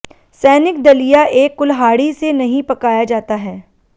सैनिक दलिया एक कुल्हाड़ी से नहीं पकाया जाता है